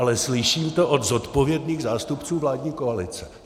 Ale slyším to od zodpovědných zástupců vládní koalice.